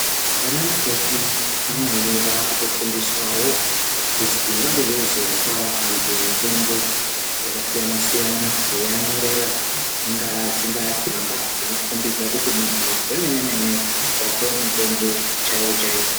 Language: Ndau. Anamukoti vamweni vakutofundiswavo kuzi vange veizopavo antu mitombo yakasiyana-siyana. Veianyorera dzingaa tsamba dzingakombidza kuti muntu uyu zvamene-mene vapuva mutombo chaivo-chaivo.